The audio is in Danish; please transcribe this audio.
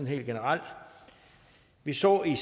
helt generelt vi så i